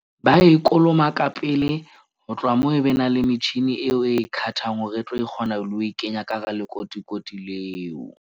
Ba e kolomaka pele ho tloha moo, e be na le metjhini eo e khathang hore e tlo kgona le ho e kenya ka hara lekotikoti leo.